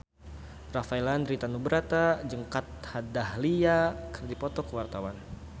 Rafael Landry Tanubrata jeung Kat Dahlia keur dipoto ku wartawan